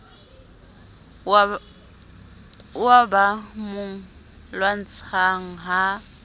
oo ba mo lwantshang ha